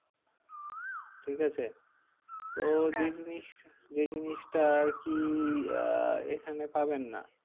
ঠিক আছে তো যে জিনিসটা, যে জিনিসটা আর কি আহ এখানে পাবেন না।